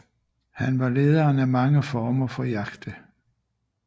Han var lederen af mange former for jagte